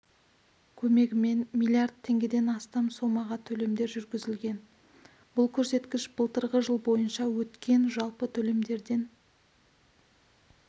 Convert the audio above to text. көмегімен млрд теңгеден астам сомаға төлемдер жүргізілген бұл көрсеткіш былтырғы жыл бойынша өткен жалпы төлемдерден